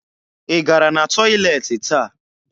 Ị gara na tọyịleetị taa?